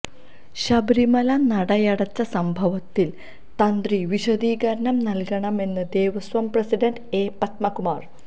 ശബരിമല നടയടച്ച സംഭവത്തില് തന്ത്രി വിശദീകരണം നല്കണമെന്ന് ദേവസ്വം പ്രസിഡന്റ് എ പത്മകുമാര്